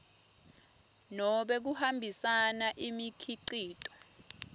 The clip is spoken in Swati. nobe kuhambisa imikhicito